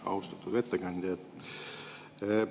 Austatud ettekandja!